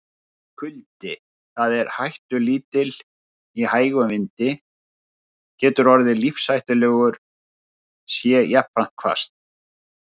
Kuldi, sem er hættulítill í hægum vindi, getur orðið lífshættulegur sé jafnframt hvasst.